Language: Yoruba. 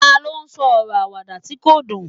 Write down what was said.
ta lo sọ ọrọ Àwàdà ti ko dun